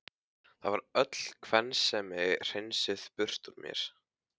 Það var öll kvensemi hreinsuð burt úr mér.